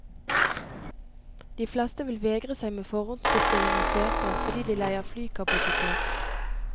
De fleste vil vegre seg med forhåndsbestilling av sete fordi de leier flykapasitet.